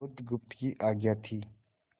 बुधगुप्त की आज्ञा थी